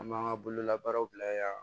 An b'an ka bolola baaraw bila yen